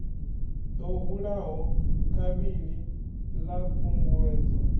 ḓo hulaho kavhili ḽa khunguwedzo